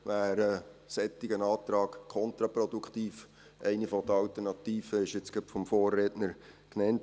Eine der Alternativen wurde gerade von meinem Vorredner genannt.